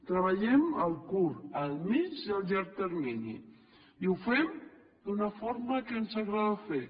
treballem a curt a mitjà i a llarg termini i ho fem d’una forma que ens agrada fer